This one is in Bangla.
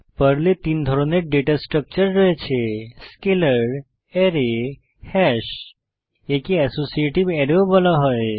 পর্লে 3 ধরনের ডেটা স্ট্রাকচার রয়েছে স্কেলার স্কেলার আরায় অ্যারে হাশ হ্যাশ একে অ্যাসোসিয়েটিভ অ্যাসোসিয়েটিভ অ্যারে ও বলা হয়